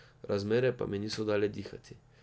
Razmere pa mi niso dale dihati.